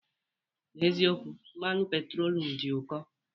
N'eziokwu, mmanụ petrolum dị ụkọ.